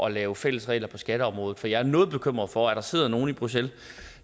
at lave fælles regler på skatteområdet for jeg er noget bekymret for at der sidder nogle i bruxelles